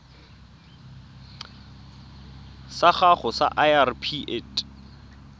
sa gago sa irp it